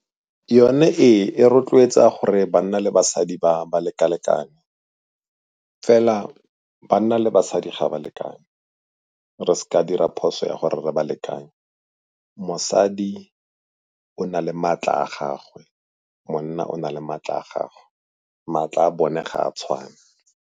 Yone ee, e rotloetsa gore banna le basadi ba leka-lekane, fela banna le basadi ga ba lekane, re se ka dira phoso ya gore re balekanye. Mosadi o na le maatla a gagwe, monna o na le maatla a gagwe, maatla a bone ga a tshwane.